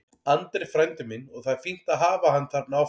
Andri er frændi minn og það er fínt að hafa hann þarna áfram.